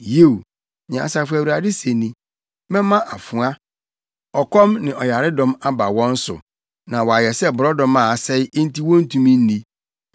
Yiw, nea Asafo Awurade se ni: “Mɛma afoa, ɔkɔm ne ɔyaredɔm aba wɔn so, na wɔayɛ sɛ borɔdɔma a asɛe enti wontumi nni.